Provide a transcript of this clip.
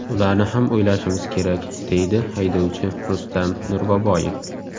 Ularni ham o‘ylashimiz kerak”, deydi haydovchi Rustam Nurboboyev.